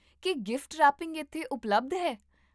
ਕੀ gift wrapping ਇੱਥੇ ਉਪਲਬਧ ਹੈ?